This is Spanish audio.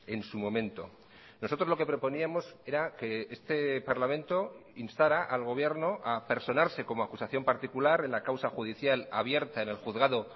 en su momento nosotros lo que proponíamos era que este parlamento instara al gobierno a personarse como acusación particular en la causa judicial abierta en el juzgado